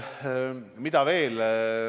Mis veel?